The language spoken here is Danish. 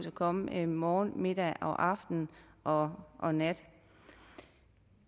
at komme morgen middag aften og og nat